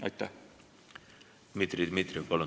Dmitri Dmitrijev, palun!